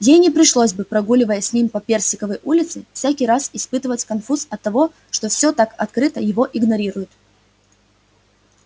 ей не пришлось бы прогуливая с ним по персиковой улице всякий раз испытывать конфуз оттого что всё так открыто его игнорируют